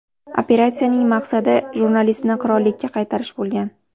Operatsiyaning maqsadi jurnalistni qirollikka qaytarish bo‘lgan.